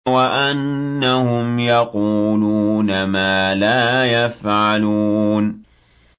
وَأَنَّهُمْ يَقُولُونَ مَا لَا يَفْعَلُونَ